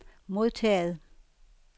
modtaget